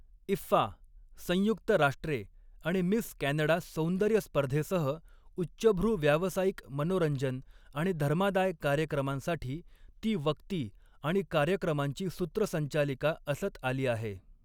IIFA, संयुक्त राष्ट्रे आणि मिस कॅनडा सौंदर्यस्पर्धेसह, उच्चभ्रू व्यावसायिक, मनोरंजन आणि धर्मादाय कार्यक्रमांसाठी ती वक्ती आणि कार्यक्रमांची सूत्रसंचालिका असत आली आहे.